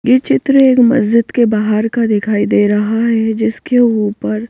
ये चित्र एक मस्जिद के बाहर का दिखाई दे रहा है जिसके ऊपर--